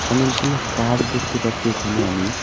অনেকগুলো গাছ দেখতে পাচ্ছি এখানে আমি।